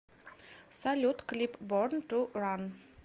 салют клип борн ту ран